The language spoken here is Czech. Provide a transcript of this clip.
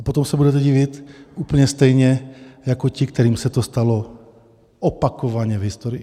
A potom se budete divit úplně stejně jako ti, kterým se to stalo opakovaně v historii.